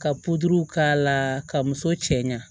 Ka k'a la ka muso cɛ ɲa